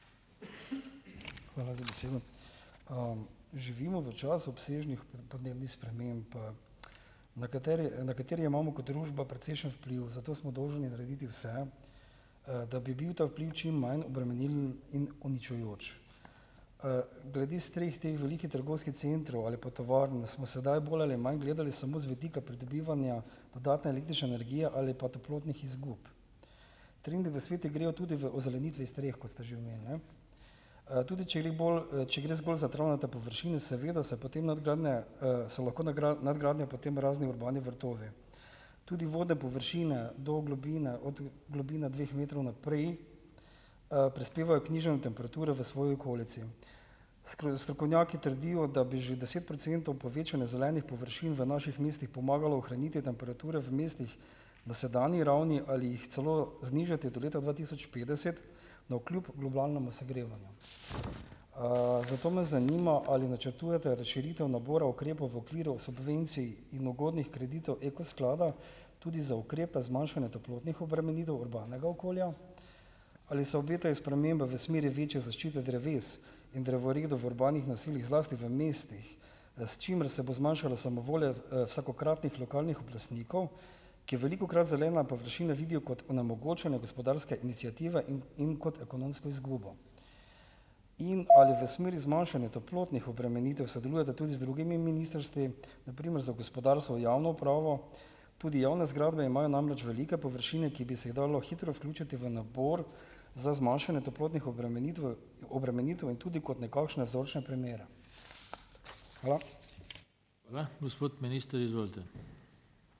Hvala za besedo. živimo v času obsežnih podnebnih sprememb, na kateri na kateri imamo kot družba precejšen vpliv, zato smo dolžni narediti vse, da bi bil ta vpliv čim manj obremenilen in uničujoč. glede streh teh velikih trgovskih centrov ali pa tovarn smo sedaj bolj ali manj gledali samo z vidika pridobivanja dodatne električne energije ali pa toplotnih izgub. Trendi v svetu grejo tudi v ozelenitvi streh, kot ste že omenili, ne? Tudi če gre k bolj, če gre zgolj za travnate površine, seveda se potem nadgradnje, so lahko nadgradnje potem razni urbani vrtovi. Tudi vodne površine, do globine od, globine dveh metrov naprej, prispevajo k nižanju temperature v svoji okolici. strokovnjaki trdijo, da bi že deset procentov povečanje zelenih površin v naših mestih pomagalo ohraniti temperature v mestih na sedanji ravni ali jih celo znižati do leta dva tisoč petdeset, navkljub globalnemu segrevanju. Zato me zanima, ali načrtujete razširitev nabora ukrepov v okviru subvencij in ugodnih kreditov Eko sklada, tudi za ukrepe zmanjšanja toplotnih obremenitev urbanega okolja. Ali se obetajo spremembe v smeri večje zaščite dreves in drevoredov v urbanih naseljih, zlasti v mestih, s čimer se bo zmanjšala samovolja, vsakokratnih lokalnih oblastnikov, ki velikokrat zelene površine vidijo kot onemogočanje gospodarske iniciative in in kot ekonomsko izgubo? In, ali v smeri zmanjšanja toplotnih obremenitev sodelujete tudi z drugimi ministrstvi, na primer za gospodarstvo, javno upravo? Tudi javne zgradbe imajo namreč velike površine, ki bi se jih dalo hitro vključiti v nabor za zmanjšanje toplotnih obremenitve obremenitev in tudi kot nekakšne vzorčne primere. Hvala.